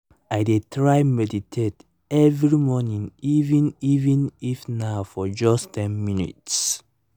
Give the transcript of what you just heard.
i dey try meditate every morning even even if na for just ten minutes